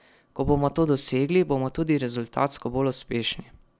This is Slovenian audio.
Ko bomo to dosegli, bomo tudi rezultatsko bolj uspešni.